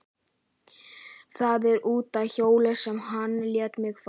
Það er út af hjóli sem hann lét mig fá.